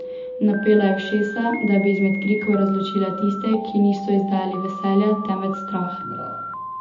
Napela je ušesa, da bi izmed krikov razločila tiste, ki niso izdajali veselja, temveč strah.